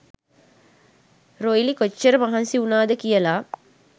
රොයිලි කොච්ච‍ර මහන්සි උනාද කියල